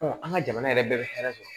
an ka jamana yɛrɛ bɛɛ bɛ hɛrɛ sɔrɔ